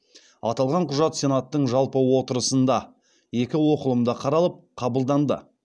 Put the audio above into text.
аталған құжат сенаттың жалпы отырысында екі оқылымда қаралып қабылданды